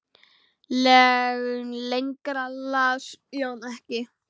Lengra las Jón ekki.